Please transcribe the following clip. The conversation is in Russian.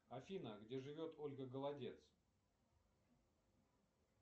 афина где живет ольга голодец